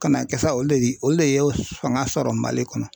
Ka n'a kɛ sa olu de olu le ye fanga sɔrɔ Mali kɔnɔ.